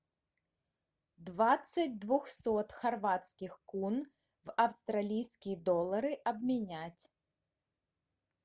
двадцать двухсот хорватских кун в австралийские доллары обменять